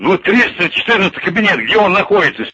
вот триста четырнадцатый кабинет где он находитесь